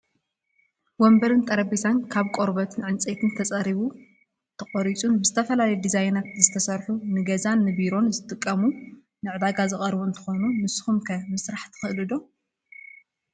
ወንበርን ጠረጴዛን ካብ ቆርበትን ዕንፀይትን ተፀሪቡ ተቆሪፁ ብዝተፈላለዩ ድዛይናት ዝተሰርሑ ንገዛን ቢሮን ዝጠቅሙ ንዕዳጋ ዝቀረቡ እንትኮኑ፣ ንስኩም ከ ምስራሕ ትክእልዎ ዶ?